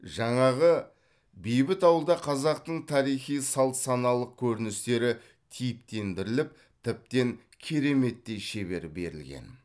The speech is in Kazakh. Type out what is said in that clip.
жаңағы бейбіт ауылда қазақтың тарихи салт саналылық көніністері типтендіріліп тіптен кереметтей шебер берілген